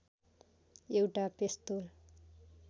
एउटा पेस्तोल